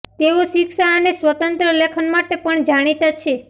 તેઓ શિક્ષા અને સ્વતંત્ર લેખન માટે પણ જાણીતા છે